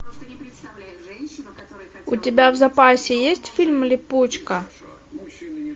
у тебя в запасе есть фильм липучка